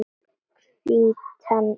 Hvítan hring.